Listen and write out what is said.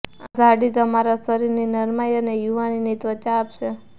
આ ઝાડી તમારા શરીરની નરમાઈ અને યુવાનીની ત્વચા આપશે